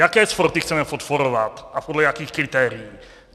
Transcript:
Jaké sporty chceme podporovat a podle jakých kritérií?